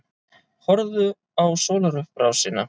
Horfðu á sólarupprásina.